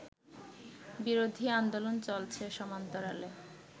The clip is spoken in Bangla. বিরোধী আন্দোলন চলছে সমান্তরালে